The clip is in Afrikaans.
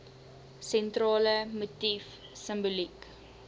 sentrale motief simboliek